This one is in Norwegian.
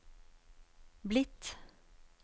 blitt